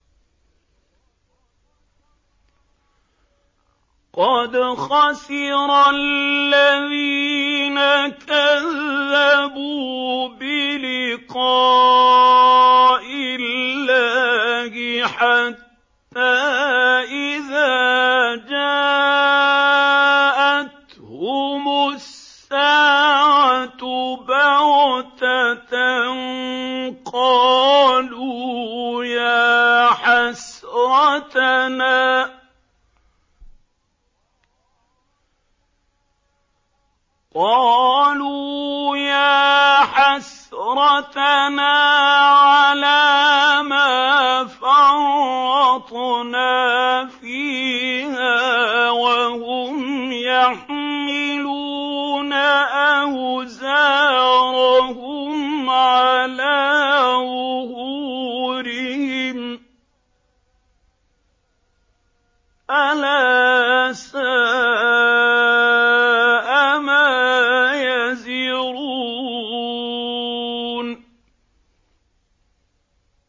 قَدْ خَسِرَ الَّذِينَ كَذَّبُوا بِلِقَاءِ اللَّهِ ۖ حَتَّىٰ إِذَا جَاءَتْهُمُ السَّاعَةُ بَغْتَةً قَالُوا يَا حَسْرَتَنَا عَلَىٰ مَا فَرَّطْنَا فِيهَا وَهُمْ يَحْمِلُونَ أَوْزَارَهُمْ عَلَىٰ ظُهُورِهِمْ ۚ أَلَا سَاءَ مَا يَزِرُونَ